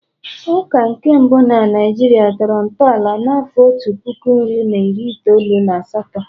Ụka nke mbụ na Naijiria tọrọ ntọala n'afọ otu puku nri na iri itoolu na asatọ